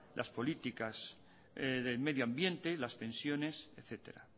las políticas de medio ambiente las pensiones etcétera